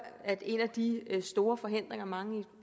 at en af de store forhindringer mange